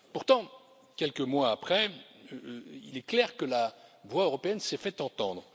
Pourtant, quelques mois après, il est clair que la voix européenne s'est fait entendre.